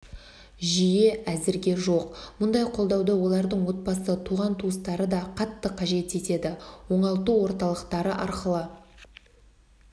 жүйе әзірге жоқ мұндай қолдауды олардың отбасы туған-туыстары да қатты қажет етеді оңалту орталықтары арқылы